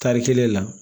Tari kelen la